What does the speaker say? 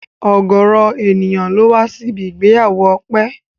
Ọ̀gọrọ ènìyàn ló wá sí ibi ìgbéyàwó Ọpẹ́